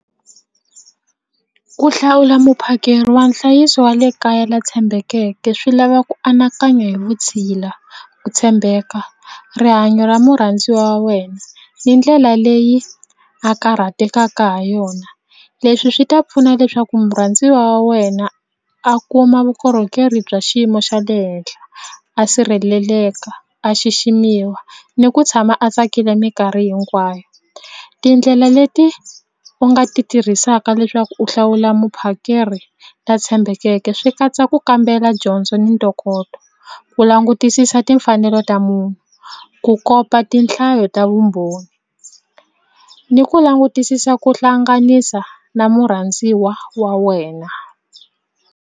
Ku hlawula muphakeri wa nhlayiso wa le kaya la tshembekeke swi lava ku anakanya hi vutshila ku tshembeka rihanyo ra murhandzi wa wena ni ndlela leyi a karhatekaka ha yona leswi swi ta pfuna leswaku murhandziwa wa wena a kuma vukorhokeri bya xiyimo xa le henhla a sirheleleka a xiximiwa ni ku tshama a tsakile mikarhi hinkwayo tindlela leti u nga ti tirhisaka leswaku u hlawula muphakeri la tshembekeke swi katsa ku kambela dyondzo ni ntokoto ku langutisisa timfanelo ta munhu ku kopa tinhlayo ta vumbhoni ni ku langutisisa ku hlanganisa na murhandziwa wa wena.